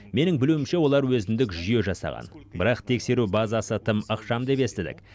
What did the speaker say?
менің білуімше олар өзіндік жүйе жасаған бірақ тексеру базасы тым ықшам деп естідік